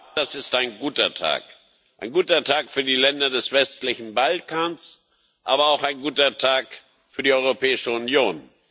Herr Präsident! Das ist ein guter Tag ein guter Tag für die Länder des westlichen Balkans, aber auch ein guter Tag für die Europäische Union.